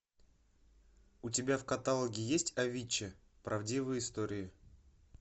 у тебя в каталоге есть авичи правдивые истории